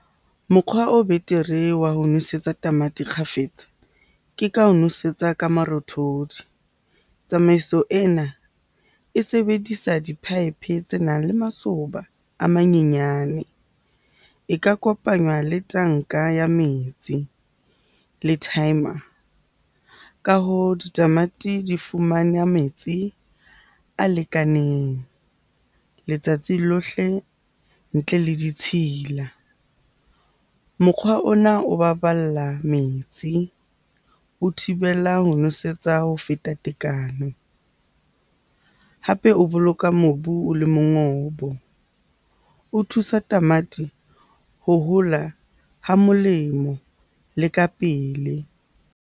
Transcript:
Mokgwa o betere wa ho nosetsa tamati kgafetsa ke ka ho nwesetsa ka marothodi. Tsamaiso ena e sebedisa di-pipe tse nang le masoba a manyenyane. E ka kopanywa le tanka ya metsi le timer. Ka hoo ditamati di fumane metsi a lekaneng letsatsi lohle ntle le ditshila. Mokgwa ona o baballa metsi, o thibela ho nwesetsa ho feta tekano, hape o boloka mobu o le mongobo. O thusa tamati ho hola ha molemo le ka pele.